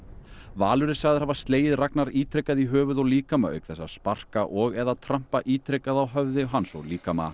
Valur er sagður hafa slegið Ragnar ítrekað í höfuð og líkama auk þess að sparka og eða trampa ítrekað á höfði hans og líkama